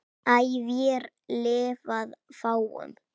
æ vér lifað fáum